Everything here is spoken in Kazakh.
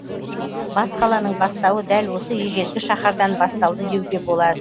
бас қаланың бастауы дәл осы ежелгі шаһардан басталды деуге болады